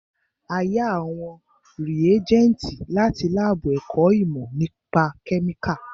A yá àwọn rìégẹ́ntì láti lábù ẹ̀kọ́ ìmọ́ nípa kẹ́míkà